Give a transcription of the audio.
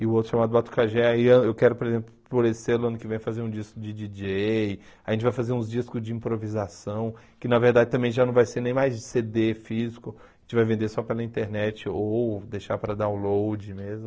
E o outro chamado Batucajé, eu ah eu quero, por exemplo, por esse ano ano que vem fazer um disco de djíi djêi, a gente vai fazer uns discos de improvisação, que na verdade também já não vai ser nem mais cê dê físico, a gente vai vender só pela internet ou deixar para download mesmo.